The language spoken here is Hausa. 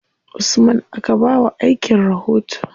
Usman aka ba wa aikin rahoto.